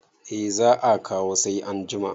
eh za a kawo sai an jima